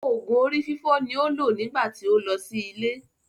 Òògùn orí fífọ́ ni ó lò nígbà tí ó lọ sí ilé.